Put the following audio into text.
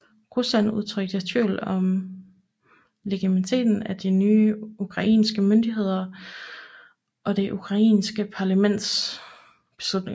Rusland udtrykte tvivl om legitimiteten af de nye ukrainske myndigheder og det ukrainske parlamentets beslutninger